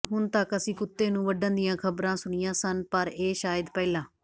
ਹੁਣ ਤੱਕ ਅਸੀਂ ਕੁੱਤੇ ਨੂੰ ਵੱਢਣ ਦੀਆਂ ਖ਼ਬਰਾਂ ਸੁਣੀਆਂ ਹਨ ਪਰ ਇਹ ਸ਼ਾਇਦ ਪਹਿਲਾ